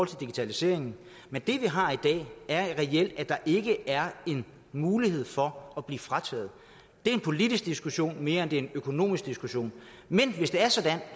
til digitaliseringen men det vi har i dag er reelt at der ikke er en mulighed for at blive fritaget det er en politisk diskussion mere end det er en økonomisk diskussion men hvis det er sådan